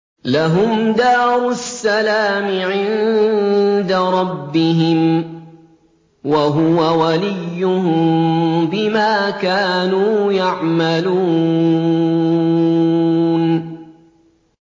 ۞ لَهُمْ دَارُ السَّلَامِ عِندَ رَبِّهِمْ ۖ وَهُوَ وَلِيُّهُم بِمَا كَانُوا يَعْمَلُونَ